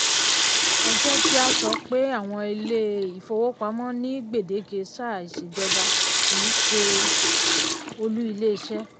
ẹ jẹ́ kí a sọ pé àwọn ilé-ìfowópamọ́ ni gbèdéke sáà ìṣèjọba kì í ṣe olú ilé-iṣẹ́.